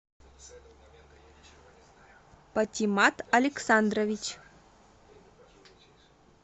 патимат александрович